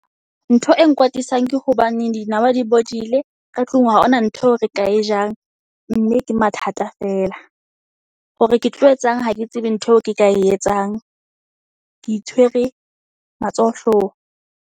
Ntho e nkwatisang ke hobane dinawa di bodile ka tlung ha hona ntho eo re ka e jang. Mme ke mathata feela. Hore ke tlo etsang ha ke tsebe ntho eo ke ka e etsang. Ke itshwere matsoho hloohong.